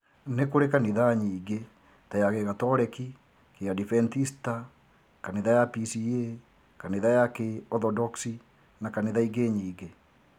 Nĩkũrĩ kanitha nyingĩ ta ya gĩgatoreki, kĩ adventista, kanitha ya PCEA, kanitha ya kĩ orthodoksi na kanitha ingĩ nyingĩ